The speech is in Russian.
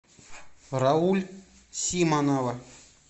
рауль симонова